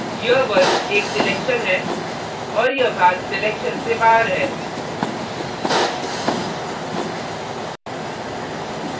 यह वर्ग एक selection है और यह भाग selection से बाहर है